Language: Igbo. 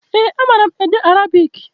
Ee, a mara m ede arabik.